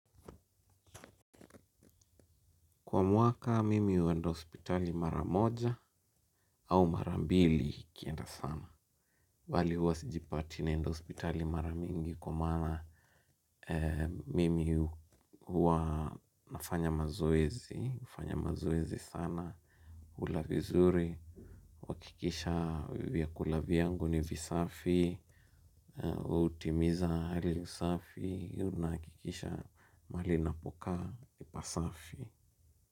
Kwa mwaka, mimi wa huenda hospitali mara moja au mara mbili ikienda sana. Bali huwa sijipati naenda hospitali mara mingi kwa maana mimi huwa nafanya mazoezi, nafanya mazoezi sana. Kula vizuri, kuhakikisha vyakula vyangu ni visafi, hutimiza hali usafi, nahakikisha maahali ninapokaa ni pasafi.